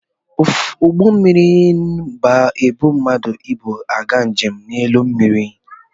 Ụgbọ mmịrị ba-ebu mmadụ na ibu aga njem n'elu mmịrị.